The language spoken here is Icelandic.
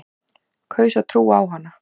Kaus að trúa á hana.